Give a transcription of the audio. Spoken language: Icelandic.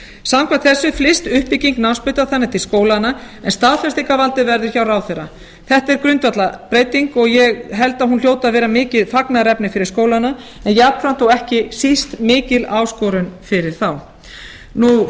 samkvæmt þessu flyst uppbygging námsbrautar þannig til skólanna en staðfestingarvaldið verður hjá ráðherra þetta er grundvallarbreyting og ég held að hún hljóti að vera mikið fagnaðarefni fyrir skólana en jafnframt og ekki síst mikil áskorun fyrir þá